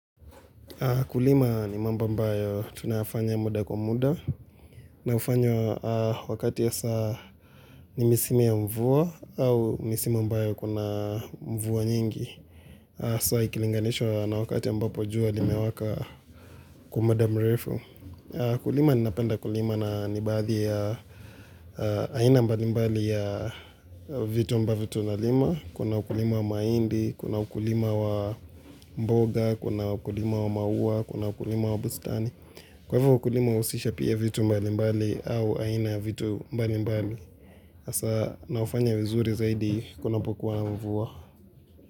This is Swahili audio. Kulima ni mambo ambayo tunafanya muda kwa muda na ufanyo wakati ya saa ni misimi ya mvuo au misimi mbayo kuna mvuo nyingi. Sai ukilinganisho na wakati ya mbapo jua limewaka kumada mrefu. Kulima ni napenda kulima na nibadhi ya aina mbali mbali ya vitu mba vitu na lima. Kuna ukulima wa mahindi, kuna ukulima wa mboga, kuna ukulima wa maua, kuna ukulima wa bustani. Kwa hivyo ukulima usisha pia vitu mbali mbali au aina vitu mbali mbali Asa na ufanya uzuri zaidi kuna po kuwa na mvua.